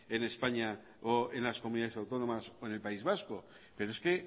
en españa o en las comunidades autónomas o en el país vasco pero es que